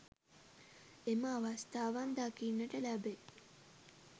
එම අවස්ථාවන් දකින්නට ලැබේ.